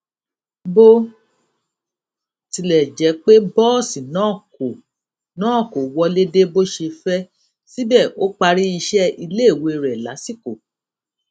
bó tilè jé pé bóòsì náà kò náà kò wọlé dé bó ṣe fé síbè ó parí iṣé iléèwé rè lásìkò